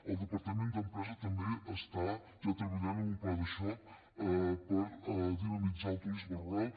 el departament d’empresa també ja treballa en un pla de xoc per dinamitzar el turisme rural